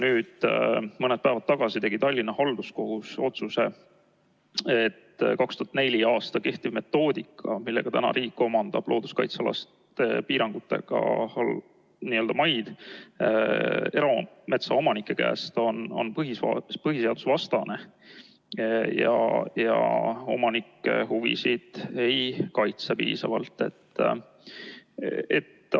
Mõni päev tagasi tegi Tallinna Halduskohus otsuse, et 2004. aastast kehtiv metoodika, millega riik omandab looduskaitsealaste piirangute all olevaid maid erametsaomanike käest, on põhiseadusvastane ega kaitse omanike huvisid piisavalt.